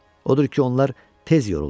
Odur ki, onlar tez yoruldular.